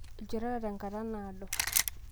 ilchoreta tenkata naado